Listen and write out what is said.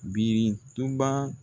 Birintuba